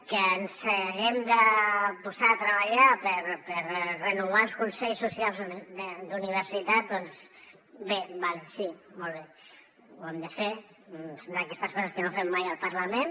que ens haguem de posar a treballar per renovar els consells socials d’universitat doncs bé d’acord sí molt bé ho hem de fer són d’aquestes coses que no fem mai al parlament